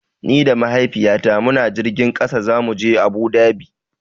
Ni da Mahaifiyata muna jirgin ƙasa zamu je Abu Dhabi.